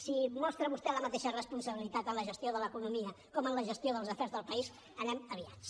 si mostra vostè la mateixa responsabilitat en la gestió de l’economia com en la gestió dels afers del país anem aviats